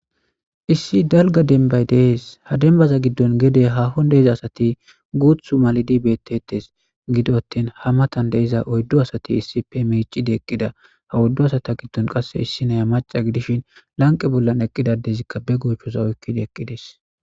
Issi dalgga dembbay de'es. Ha dembbaza giddon gede haahon de'iza asati guuththu malidi beetettes. Gido attin haa matan de'iza oyddu asati issippe miicci eqqida. Ha oyddu asata giddon qasse issiniya macca gidishin lanqqe bolla eqqida addezikka be goochchoza oyiqqidi eqqides